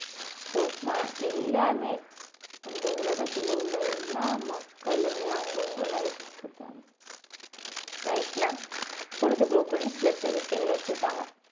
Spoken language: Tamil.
இப்போ ஆஹ் எல்லாமே இந்த உலகத்துல உள்ள எல்லா மக்களுமே அவங்கவங்க life க்குதான் life ல பொழுதுபோக்குன்னு சில சில விஷயங்களை வச்சிப்பாங்க